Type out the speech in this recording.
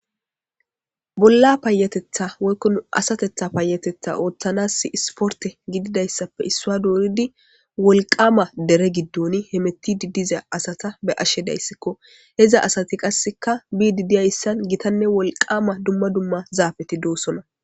Bolla paayatetha woykkon asatetha paayatetha ooththanas isporte gididayssappe issua dooridi wolqama dere giddon hemetidi diza asata be ashe dayssikko heza asati qasseka bidi diyayssan gitanne wolqama dumma dumma zaafeti doosona